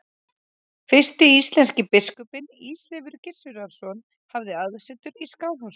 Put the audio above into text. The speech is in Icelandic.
Fyrsti íslenski biskupinn, Ísleifur Gissurarson, hafði aðsetur í Skálholti.